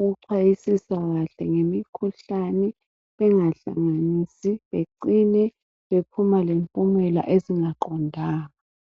ukuxhayisisa kahle ngemikhuhlane bengahlanganisi becine bephuma le mpumela ezingaqondanga.